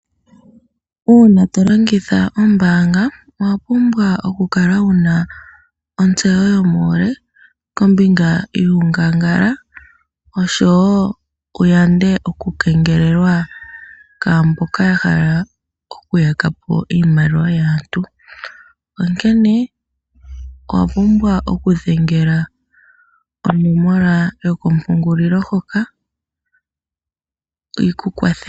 Uuna to longitha ombaanga owa pumbwa oku kala wuna ontseyo yomuule kombinga yuungangala oshowo wu yande oku kengelelwa kumboka ya hala oku yaka po iimaliwa yaantu, onkene owa pumbwa oku dhengela onomola yokompungulilo hoka yiku kwathele.